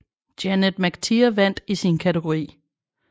Janet McTeer vandt i sin kategori